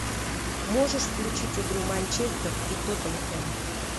можешь включить игру манчестер и тоттенхэм